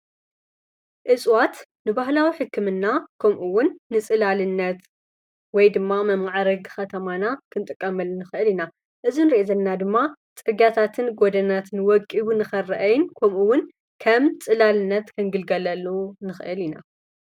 እጽዋት ንባህላዊ ሕክምና ከምኡውን ንጽላልነት ወይ ድማ መማዓረግ ኸተማና ክንጥቀመሉ ንኽእል ኢና። እዙይ እንርእዮ ዘለና ድማ ጽርጋታትን ጐደናትን ወቂቡ ንክርአይን ከምኡውን ከም ጽላልነት ክንግልገለሉ ንኽእል ኢና።